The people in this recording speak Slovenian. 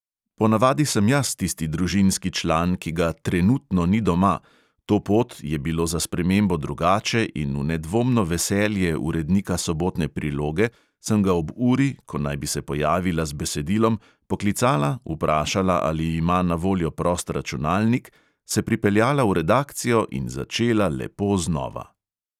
Ponavadi sem jaz tisti družinski član, ki ga "trenutno ni doma", to pot je bilo za spremembo drugače in v nedvomno veselje urednika sobotne priloge sem ga ob uri, ko naj bi se pojavila z besedilom, poklicala, vprašala, ali ima na voljo prost računalnik, se pripeljala v redakcijo in začela lepo znova.